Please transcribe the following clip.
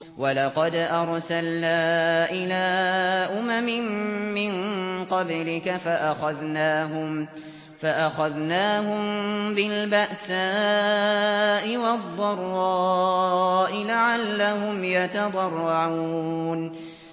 وَلَقَدْ أَرْسَلْنَا إِلَىٰ أُمَمٍ مِّن قَبْلِكَ فَأَخَذْنَاهُم بِالْبَأْسَاءِ وَالضَّرَّاءِ لَعَلَّهُمْ يَتَضَرَّعُونَ